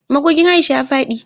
Magogin Aisha ya fadi